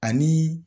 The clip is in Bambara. Ani